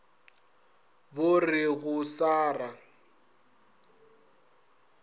bo re go sa ra